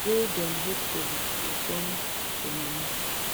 wey dem hope to turn to money